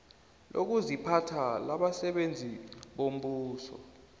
lokuziphatha labasebenzi bombuso